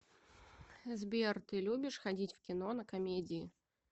сбер ты любишь ходить в кино на комедии